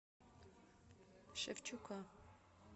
шевчука